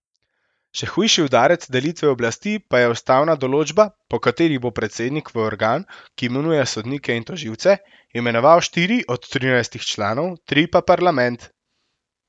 Še hujši udarec delitvi oblasti pa je ustavna določba, po kateri bo predsednik v organ, ki imenuje sodnike in tožilce, imenoval štiri od trinajstih članov, tri pa parlament.